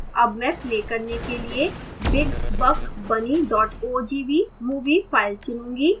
अब मैं play करने के लिए big buck bunny ogv movie file चुनूँगा